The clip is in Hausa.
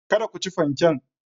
Kada ku ci fanken.